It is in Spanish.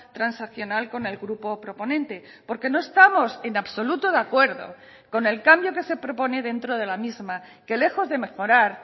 transaccional con el grupo proponente porque no estamos en absoluto de acuerdo con el cambio que se propone dentro de la misma que lejos de mejorar